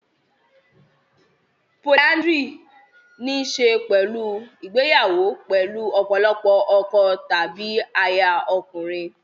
Polyandry ní í ṣe pẹ̀lú ìgbéyàwó pẹ̀lú ọ̀pọ̀lọpọ̀ àwọn ọkọ tàbí aya ọkùnrin.